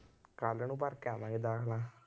ਕੱਲ੍ਹ ਨੂੰ ਭਰ ਕੇ ਆਵਾਂਗੇ ਦਾਖਲਾ